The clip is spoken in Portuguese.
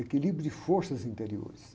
Equilíbrio de forças interiores.